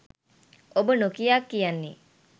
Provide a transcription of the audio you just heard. ඔබ නොකියා කියන්නේ